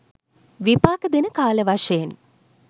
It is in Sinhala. විපාක දෙන කාල වශයෙන්